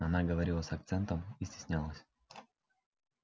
она говорила с акцентом и стеснялась